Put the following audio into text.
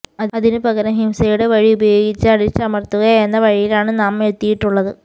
അതിനു പകരം ഹിംസയുടെ വഴി ഉപയോഗിച്ച് അടിച്ചമര്ത്തുക എന്ന വഴിയിലാണ് നാം എത്തിയിട്ടുള്ളത്